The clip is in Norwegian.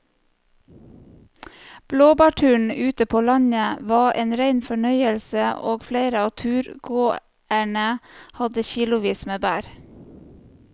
Blåbærturen ute på landet var en rein fornøyelse og flere av turgåerene hadde kilosvis med bær.